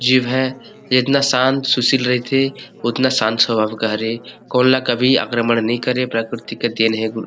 जीव है इतना शांत सुशील रहिथे उतना शांत सभाओ के हरे कोन ल कभी आक्रमण नहीं करे प्रकिरती के देन हे गुण --